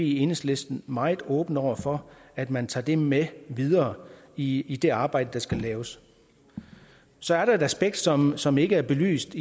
i enhedslisten meget åbne over for at man tager det med videre i i det arbejde der skal laves så er der et aspekt som som ikke er belyst